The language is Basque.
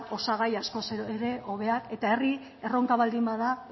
osagai askoz ere hobeak eta herri erronka baldin bada